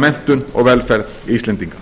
menntun og velferð íslendinga